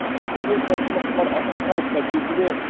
облыс әкімі құмар ақсақалов та кезінде